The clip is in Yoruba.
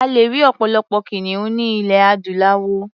A lè rí ọ̀pọ̀lọpọ̀ kìnìún ní ilẹ̀ adúláwọ̀.